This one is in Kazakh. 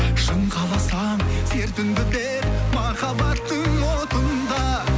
шың қаласаң сертіңді бер махаббаттың отында